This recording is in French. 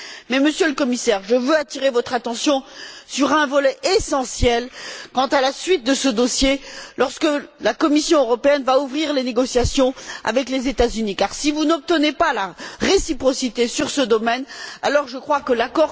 Mais, Monsieur le Commissaire, je veux attirer votre attention sur un volet essentiel quant à la suite de ce dossier, lorsque la Commission européenne va ouvrir les négociations avec les États Unis, car si vous n'obtenez pas la réciprocité sur ce domaine, je crois que l'accord que...